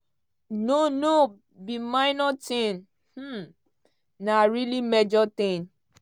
no no be minor tin um na really major tin